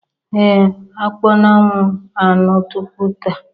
Ee m akpọnwụwo anụ tupu taa